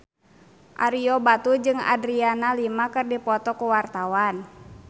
Ario Batu jeung Adriana Lima keur dipoto ku wartawan